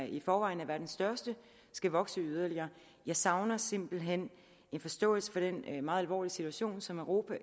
i forvejen er verdens største skal vokse yderligere jeg savner simpelt hen en forståelse for den meget alvorlig situation som euruopa og